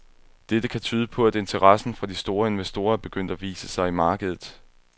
Dette kan tyde på, at interessen fra de store investorer er begyndt at vise sig i markedet.